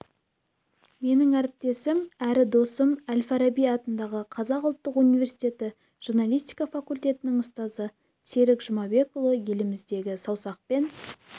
менің әріптесім әрі досым әл-фараби атындағы қазақ ұлттық университеті журналистика факультетінің ұстазы серік жұмабекұлы еліміздегі саусақпен